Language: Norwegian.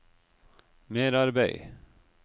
merarbeid